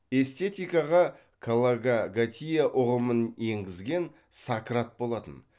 эстетикаға калокагатия ұғымын енгізген сократ болатын